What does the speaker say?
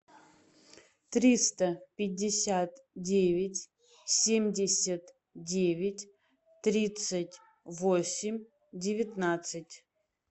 триста пятьдесят девять семьдесят девять тридцать восемь девятнадцать